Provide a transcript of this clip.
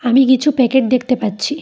আমি কিছু প্যাকেট দেখতে পাচ্ছি।